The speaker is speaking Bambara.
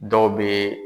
Dɔw bɛ